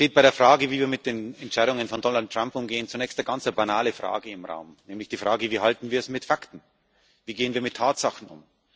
Bei der Frage, wie wir mit den Entscheidungen von Donald Trump umgehen, steht zunächst eine ganz banale Frage im Raum, nämlich die Frage Wie halten wir es mit Fakten, wie gehen wir mit Tatsachen um?